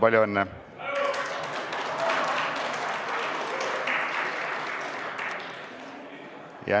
Palju õnne!